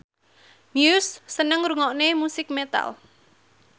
Muse seneng ngrungokne musik metal